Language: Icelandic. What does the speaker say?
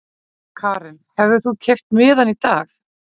Karen: Hefðir þú keypt miðann í dag?